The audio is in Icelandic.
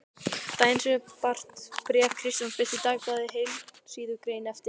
Daginn sem mér barst bréf Kristjáns birti Dagblaðið heilsíðugrein eftir